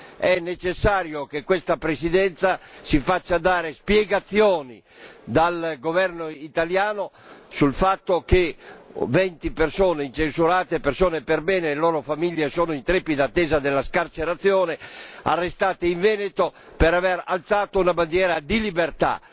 È necessario che questa Presidenza si faccia dare spiegazioni dal governo italiano sul fatto che 20 persone incensurate e perbene e le loro famiglie siano in trepida attesa della scarcerazione, dopo essere state arrestate in Veneto per aver alzato una bandiera di libertà.